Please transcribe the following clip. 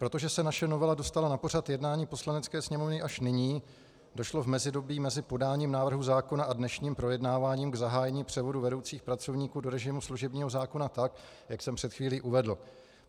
Protože se naše novela dostala na pořad jednání Poslanecké sněmovny až nyní, došlo v mezidobí mezi podáním návrhu zákon a dnešním projednáváním k zahájení převodu vedoucích pracovníků do režimu služebního zákona tak, jak jsem před chvílí uvedl.